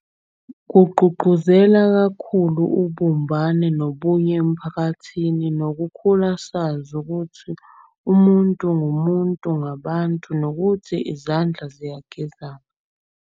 Kugqugquzela kakhulu ubumbane nobunye emphakathini. Nokukhula sazi ukuthi umuntu ngumuntu ngabantu nokuthi izandla ziyagezana.